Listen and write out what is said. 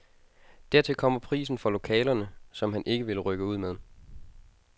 Dertil kommer prisen for lokalerne, som han ikke vil rykke ud med.